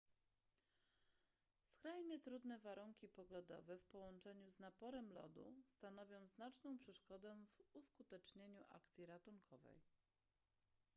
skrajnie trudne warunki pogodowe w połączeniu z naporem lodu stanowią znaczną przeszkodę w uskutecznieniu akcji ratunkowej